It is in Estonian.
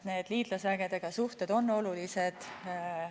Need liitlasvägedega suhted on olulised.